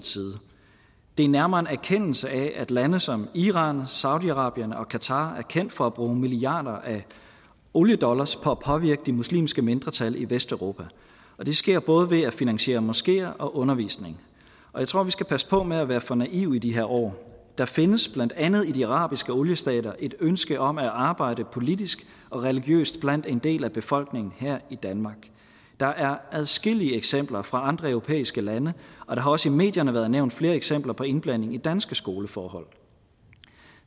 det er nærmere en erkendelse af at lande som iran saudi arabien og qatar er kendt for at bruge milliarder af oliedollars på at påvirke de muslimske mindretal i vesteuropa og det sker både ved at finansiere moskeer og undervisning jeg tror at vi skal passe på med at være for naive i de her år der findes blandt andet i de arabiske oliestater et ønske om at arbejde politisk og religiøst blandt en del af befolkningen her i danmark der er adskillige eksempler fra andre europæiske lande og der har også i medierne været nævnt flere eksempler på indblanding i danske skoleforhold